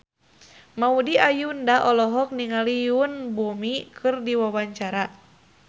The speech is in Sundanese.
Maudy Ayunda olohok ningali Yoon Bomi keur diwawancara